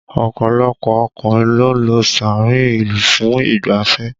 Ọ̀pọ̀lọpọ̀ ọkùnrin ló ń lọ sáàárín ìlú fún ìgbáfẹ́